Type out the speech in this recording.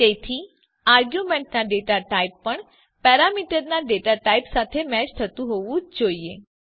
તેથી આરગયુંમેન્ટના data type પણ પેરામીટરના ડેટા ટાઇપ સાથે મેચ થતું હોવું જ જોઈએ